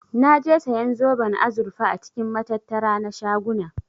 Naje siyan zoben azurfa a cikin matattara na shaguna.